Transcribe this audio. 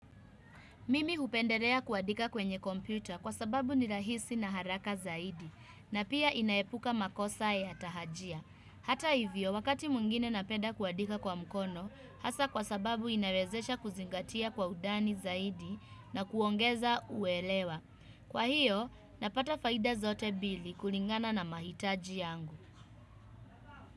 Mimi hupendelea kuandika kwenye kompyuta kwa sababu ni rahisi na haraka zaidi na pia inaepuka makosa ya tahajia. Hata hivyo wakati mwingine napenda kuandika kwa mkono hasa kwa sababu inawezesha kuzingatia kwa undani zaidi na kuongeza uelewa. Kwa hiyo napata faida zote mbili kulingana na mahitaji yangu.